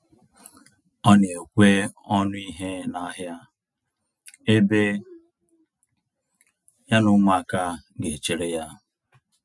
Ọ na ekwe ọnụ ihe na ahịa, ebe ya na ụmụaka ga echere ya